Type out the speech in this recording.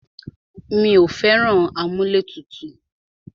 Mí ò fẹ́ràn amúlẹ̀tutù.